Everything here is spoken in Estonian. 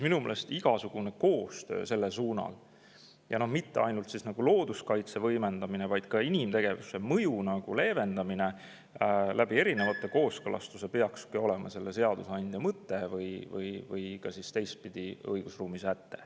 " Minu meelest igasugune koostöö selles – ja mitte ainult looduskaitse võimendamine, vaid ka inimtegevuse mõju leevendamine kooskõlastuste kaudu – peakski olema seadusandja mõte või õigusruumi säte.